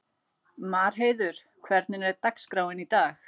Marheiður, hvernig er dagskráin í dag?